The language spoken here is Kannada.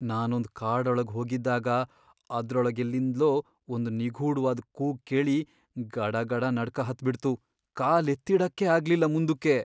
ನಾನೊಂದ್ ಕಾಡೊಳಗ್ ಹೋಗಿದ್ದಾಗ ಅದ್ರೊಳಗೆಲ್ಲಿಂದ್ಲೋ ಒಂದು ನಿಗೂಢ್ವಾದ್ ಕೂಗ್ ಕೇಳಿ ಗಡಗಡ ನಡ್ಕ ಹತ್ಬಿಡ್ತು.. ಕಾಲ್ಎತ್ತಿಡಕ್ಕೇ ಆಗ್ಲಿಲ್ಲ ಮುಂದುಕ್ಕೆ.